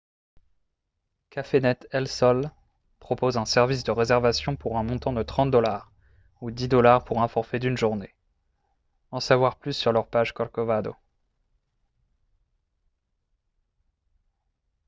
cafenet el sol propose un service de réservation pour un montant de 30 dollars ou 10 dollars pour un forfait d'une journée en savoir plus sur leur page corcovado